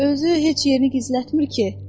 Özü heç yerini gizlətmir ki.